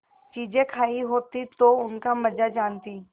चीजें खायी होती तो उनका मजा जानतीं